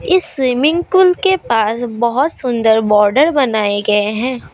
इस swimming pool के पास बहुत सुंदर बॉर्डर बनाए गए हैं।